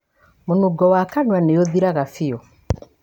Mũnungo wa kanua nĩ ũthiraga biũ.